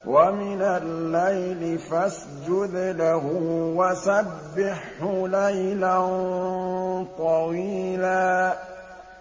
وَمِنَ اللَّيْلِ فَاسْجُدْ لَهُ وَسَبِّحْهُ لَيْلًا طَوِيلًا